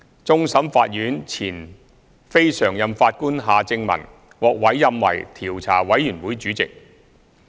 終審法院前非常任法官夏正民獲委任為調查委員會主席。